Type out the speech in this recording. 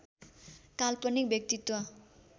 काल्पनिक व्यक्तित्व